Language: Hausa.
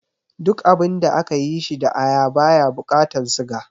Duk abinda aka yi shi da aya baya bukatan siga